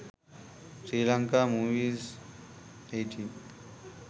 sri lanka movies 18